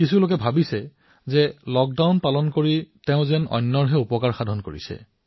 কিছুমান লোকে ভাবিছে যে তেওঁ লক্ডাউন পালন কৰি যেন আনৰ সহায় কৰি আছে